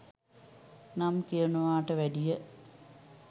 නම් කියනවට වැඩිය